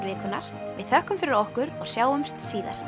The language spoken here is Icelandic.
vikunnar við þökkum fyrir okkur og sjáumst síðar